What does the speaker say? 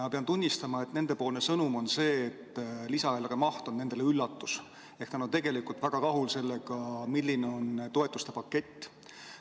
Ma pean tunnistama, et nende sõnum on see, et lisaeelarve maht oli neile üllatus – nad on väga rahul sellega, milline on toetuste pakett.